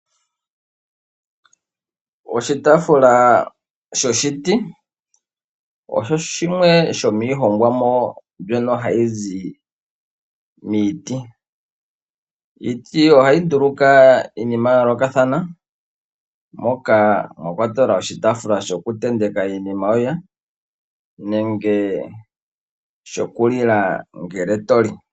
Oshitafula shoshiti osho shimwe shomwiihongwamo mbyono ha yi zi miiti. Iiti ohayi nduluka iinima yayolokathana moka mwa kwatelwa oshitafula shoku tenteka iinima yoye nenge shoku lila ngele toli.